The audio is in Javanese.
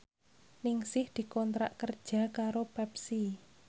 Ningsih dikontrak kerja karo Pepsi